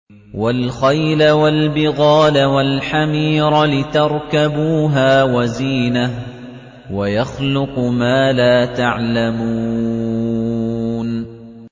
وَالْخَيْلَ وَالْبِغَالَ وَالْحَمِيرَ لِتَرْكَبُوهَا وَزِينَةً ۚ وَيَخْلُقُ مَا لَا تَعْلَمُونَ